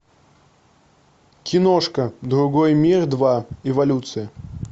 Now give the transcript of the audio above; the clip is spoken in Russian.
киношка другой мир два эволюция